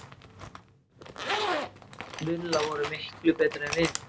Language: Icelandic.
Villa voru miklu betri en við.